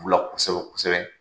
U la kosɛbɛ kosobɛ.